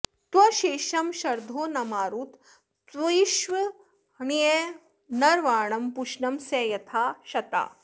त्वे॒षं शर्धो॒ न मारु॑तं तुवि॒ष्वण्य॑न॒र्वाणं॑ पू॒षणं॒ सं यथा॑ श॒ता